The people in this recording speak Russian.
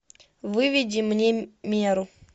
выведи мне меру